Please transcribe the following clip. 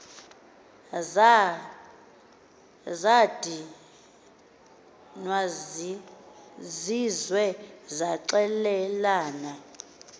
zad izizwe zaxelelana